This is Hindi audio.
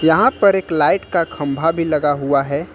यहां पर एक लाइट का खंभा भी लगा हुआ है।